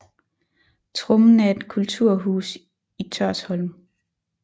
Trommen er et kulturhus i Hørsholm